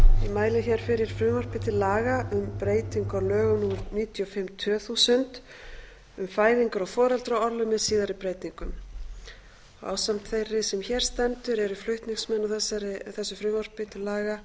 mæli hér fyrir frumvarpi til laga um breytingu á lögum númer níutíu og fimm tvö þúsund um fæðingar og foreldraorlof með síðari breytingum ásamt þeirri sem hér stendur eru flutningsmenn að þessu frumvarpi til laga